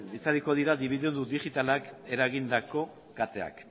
itzaliko direla dibidendu digitalak eragindako kateak